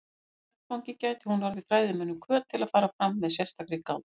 Á þeim vettvangi gæti hún orðið fræðimönnum hvöt til að fara fram með sérstakri gát.